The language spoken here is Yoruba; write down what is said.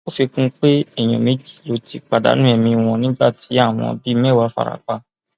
ó fi kún un pé èèyàn méjì ló ti pàdánù ẹmí wọn nígbà tí àwọn bíi mẹwàá fara pa